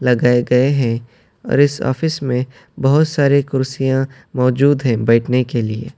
لگائے گئے ہیں اور اس آفس میں بھوت سارے کرسیاں موجود ہیں بیٹھنے کے لیے--